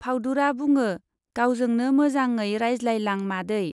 फाउदुरा बुङो, गावजोंनो मोजाङै रायज्लायलां मादै।